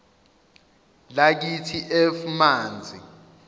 lakithi f manzi